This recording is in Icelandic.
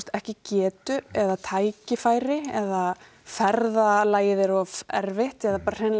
ekki getu eða tækifæri eða ferðalagið er of erfitt eða bara hreinlega